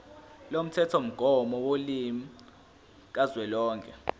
lomthethomgomo wolimi kazwelonke